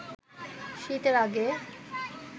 শীতের আগে